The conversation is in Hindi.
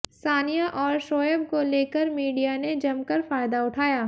सानिया और शोएब को लेकर मीडिया ने जमकर फायदा उठाया